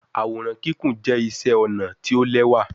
Àwòrán Kíkún jẹ iṣé ọnà tí o l'ẹwa.